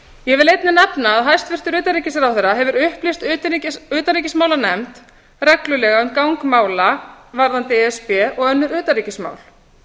ég vil einnig nefna að hæstvirtur utanríkisráðherra hefur upplýst utanríkismálanefnd reglulega um gang mála varðandi e s b og önnur utanríkismál hann